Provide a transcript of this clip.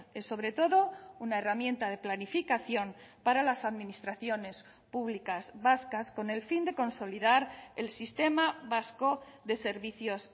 es sobre todo una herramienta de planificación para las administraciones públicas vascas con el fin de consolidar el sistema vasco de servicios